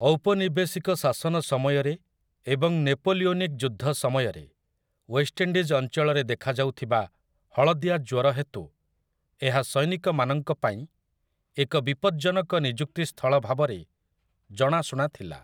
ଔପନିବେଶିକ ଶାସନ ସମୟରେ ଏବଂ ନେପୋଲିଓନିକ୍ ଯୁଦ୍ଧ ସମୟରେ, ୱେଷ୍ଟଇଣ୍ଡିଜ୍ ଅଞ୍ଚଳରେ ଦେଖାଯାଉଥିବା ହଳଦିଆ ଜ୍ୱର ହେତୁ ଏହା ସୈନିକମାନଙ୍କ ପାଇଁ ଏକ ବିପଜ୍ଜନକ ନିଯୁକ୍ତି ସ୍ଥଳ ଭାବରେ ଜଣାଶୁଣା ଥିଲା ।